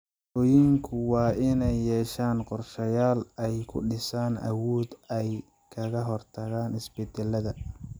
Bulshooyinku waa inay yeeshaan qorsheyaal ay ku dhisaan awood ay kaga hortagaan isbedelada.